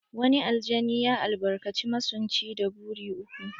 Wani aljani ya albarkaci masunci da buri uku.